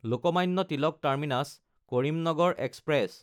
Lokmanya Tilak টাৰ্মিনাছ–কৰিমনগৰ express